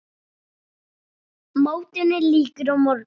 Mótinu lýkur á morgun.